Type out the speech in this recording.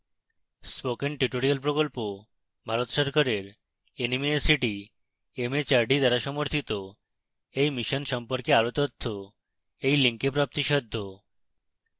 spoken tutorial প্রকল্প ভারত সরকারের nmeict mhrd দ্বারা সমর্থিত এই mission সম্পর্কে আরো তথ্য এই link প্রাপ্তিসাধ্য